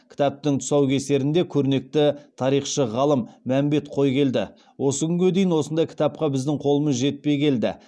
кітаптың тұсаукесерінде көрнекті тарихшы ғалым мәмбет қойгелді осы күнге дейін осындай кітапқа біздің қолымыз жетпей келді